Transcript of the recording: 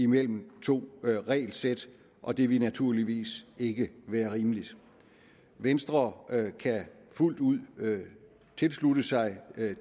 mellem to regelsæt og det ville naturligvis ikke være rimeligt venstre kan fuldt ud tilslutte sig